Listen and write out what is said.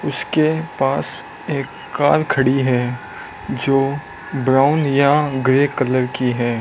उसके पास एक कार खड़ी है जो ब्राउन या ग्रे कलर की है।